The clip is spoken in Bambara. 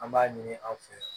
An b'a ɲini an fɛ